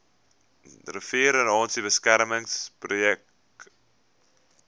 riviererosie beskermingswerke projek